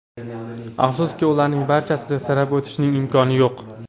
Afsuski, ularning barchasini sanab o‘tishning imkoni yo‘q.